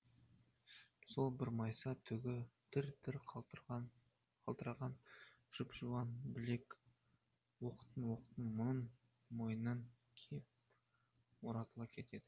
сол бір майса түгі дір дір қалтыраған жұп жуан білек оқтын оқтын мұның мойнына кеп оратыла кетеді